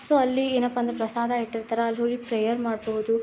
So ಅಲ್ಲಿ ಏನಪ್ಪಾ ಅಂದ್ರೆ ಪ್ರಸಾದ ಇಟ್ಟಿರ್ತಾರೆ ಅಲ್ಲಿ ಹೋಗಿ ಪ್ರೇಯರ್ ಮಾಡಬಹುದು.